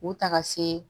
U taga se